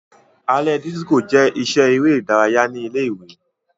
Alẹ disiko jẹ iṣẹ ere idaraya ni ile-iwe.